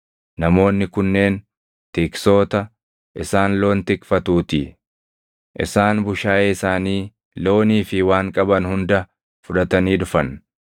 Namoonni kunneen tiksoota; isaan loon tikfatuutii. Isaan bushaayee isaanii, loonii fi waan qaban hunda fudhatanii dhufan.’